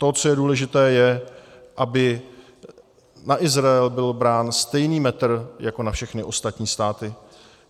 To, co je důležité, je, aby na Izrael byl brán stejný metr jako na všechny ostatní státy.